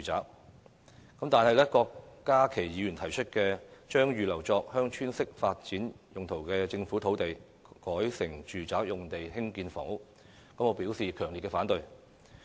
然而，我對於郭家麒議員提議"將預留作'鄉村式發展'用途的政府土地，改成住宅用地興建房屋"，表示強烈反對。